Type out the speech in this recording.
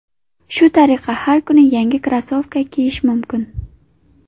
Shu tariqa har kuni yangi krossovka kiyish mumkin.